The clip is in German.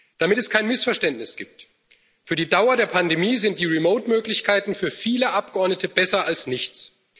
Damit es kein Missverständnis gibt, für die Dauer der Pandemie sind die Remote Möglichkeiten für viele Abgeordnete besser als nichts.